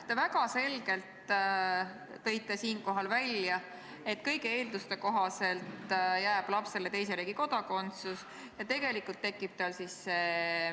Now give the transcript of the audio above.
Te väga selgelt tõite siinkohal välja, et kõigi eelduste kohaselt jääb lapsele teise riigi kodakondsus ja tegelikult tekib tal "tingimuslik kodakondsus".